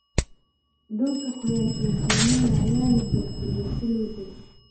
Dhulka qoyan iyo kaymaha ayaa la burburiyay si loo dagoo.